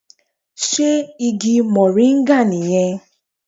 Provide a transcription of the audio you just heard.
Sé Igi Mòríngà nì yẹn